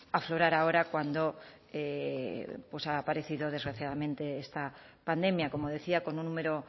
aflorar ahora cuando ha aparecido desgraciadamente esta pandemia como decía con un número